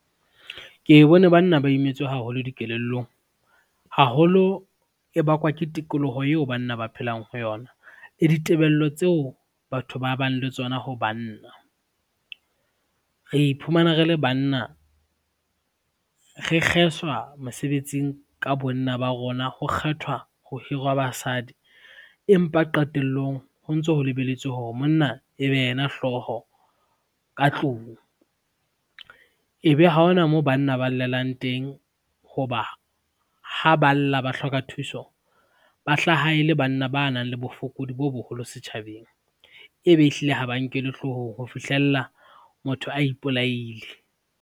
Ke bone banna ba imetswe haholo dikelellong haholo, e bakwa ke tikoloho eo banna ba phelang ho yona, le ditebello tseo batho ba bang le tsona ho banna. Re iphumana re le banna, re kgeswa mosebetsing ka bonna ba rona, ho kgethwa ho hirwa basadi empa qetelllong ho ntso ho lebeletswe hore monna e be yena hlooho ka tlung. Ebe ha ona moo banna ba llelang teng ho ba, ha ba lla ba hloka thuso ba hlaha e le banna ba nang le bofokodi bo boholo setjhabeng, ebe ehlile ha ba nkelwe hloohong ho fihlella motho a ipolaile.